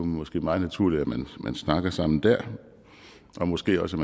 måske meget naturligt at man snakker sammen der og måske også